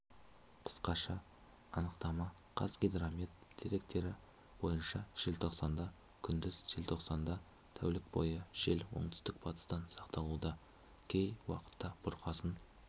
қысқаша анықтама қазгидромет деректері бойынша желтоқсанда күндіз желтоқсанда тәулік бойы жел оңтүстік-батыстан сақталуда кей уақытта бұрқасын